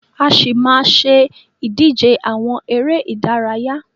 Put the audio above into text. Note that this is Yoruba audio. A ṣì máa má ṣe ìdíje àwọn eré ìdárayá.